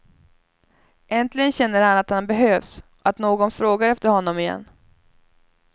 Äntligen känner han att han behövs, att någon frågar efter honom igen.